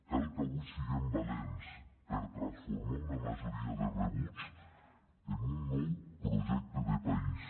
cal que avui siguem valents per transformar una majoria de rebuig en un nou projecte de país